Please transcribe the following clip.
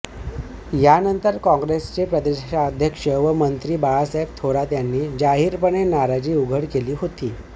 यानंतर काँग्रेसचे प्रदेशाध्यक्ष व मंत्री बाळासाहेब थोरात यांनी जाहीरपणे नाराजी उघड केली होती